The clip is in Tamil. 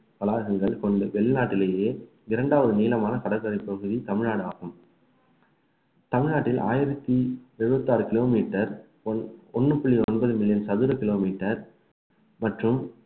வளாகங்கள் கொண்டு வெளிநாட்டிலேயே இரண்டாவது நீளமான கடற்கரை பகுதி தமிழ்நாடு ஆகும் தமிழ்நாட்டில் ஆயிரத்தி எழுபத்தி ஆறு kilometre ஒ~ ஒண்ணு புள்ளி ஒன்பது மில்லியன் சதுர kilometre மற்றும்